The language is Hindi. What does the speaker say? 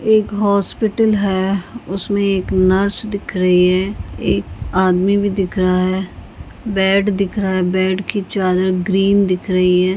एक हॉस्पिटल है उसमे एक नर्स दिख रही है एक आदमी भी दिख रहा है बेड दिख रहा है बेड की चादर ग्रीन दिख रही है।